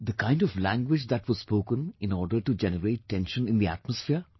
The kind of language that was spoken in order to generate tension in the atmosphere